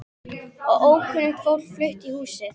Og ókunnugt fólk flutt í húsið.